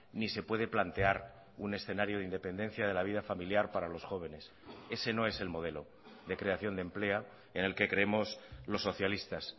ni se puede plantear un escenario de independencia de la vida familiar para los jóvenes ese no es el modelo de creación de empleo en el que creemos los socialistas